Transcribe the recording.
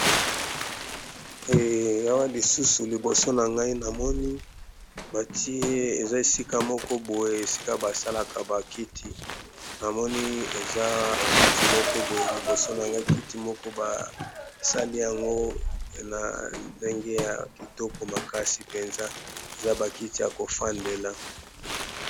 yawa lisusu liboso na ngai namoni batiye eza esika moko boye esika basalaka bakiti na moni eza kiti moko boye liboso na ngai kiti moko basali yango na ndenge ya kitoko makasi mpenza eza bakiti ya kofandela